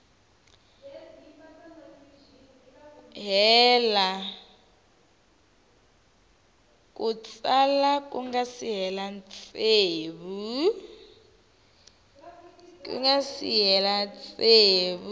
ku nga si hela tsevu